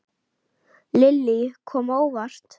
Lillý: Kom á óvart?